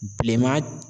Bilenman